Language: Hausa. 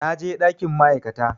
Na je ɗakin ma'aikata